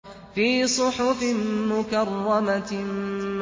فِي صُحُفٍ مُّكَرَّمَةٍ